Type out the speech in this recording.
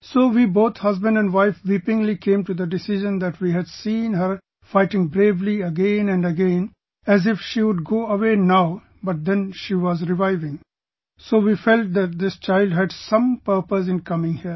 So we both husband and wife weepingly came to the decision that we had seen her fighting bravely again and again as if she would go away now but then she was reviving, so we felt that this child had some purpose in coming here